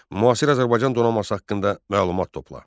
Müasir Azərbaycan donanması haqqında məlumat topla.